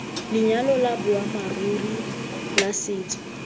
lenyalo la boammaaruri la setso